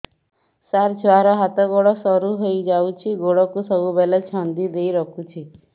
ସାର ଛୁଆର ହାତ ଗୋଡ ସରୁ ହେଇ ଯାଉଛି ଗୋଡ କୁ ସବୁବେଳେ ଛନ୍ଦିଦେଇ ରଖୁଛି